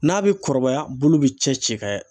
N'a bɛ kɔrɔbaya , bulu bɛ cɛ ci ka